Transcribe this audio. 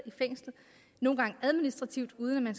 i fængsler nogle gange administrativt uden at